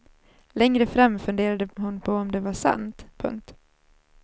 Längre fram funderade hon på om det var sant. punkt